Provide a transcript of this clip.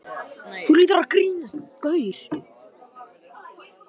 Þú hlýtur að vera farinn að gera það gott!